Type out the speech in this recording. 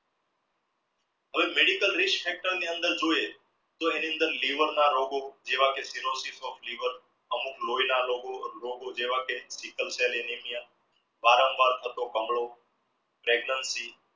કોઈ medical reach factor ની અંદર જોઈએ તો એની અંદર liver ના રોગો જેવા કે liver અમુક લોયના રોગો જેવા કે નિકલસેલિનીલિયા વારંવાર થતો કમડો pregnancy